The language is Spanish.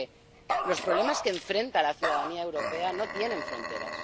Porque los problemas que encara la ciudadanía europea no tienen fronteras.